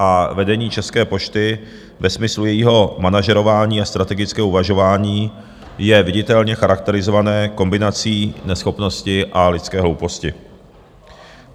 A vedení České pošty ve smyslu jejího manažerování a strategického uvažování je viditelně charakterizované kombinací neschopnosti a lidské hlouposti.